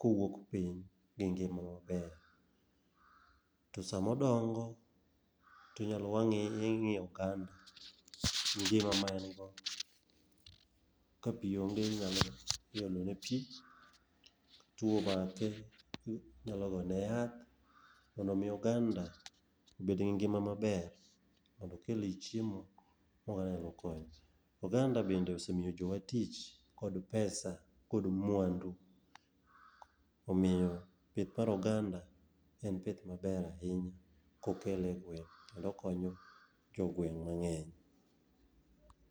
kowuok piny, gi ngima maber. To sama odongo, ing'iyo oganda e ngima ma en go. Ka pi onge, iolone pi, tuwo omake, inyalo gone yath mondo omi oganda obedgi ngima maber mondo okelni chiemo. Oganda bende osemiyo jowa tich, kod pesa kod mwandu. Omiyo pith mar oganda en pith maber ahinya kokele e gweng' kendo okonyo jogweng' mang'eny.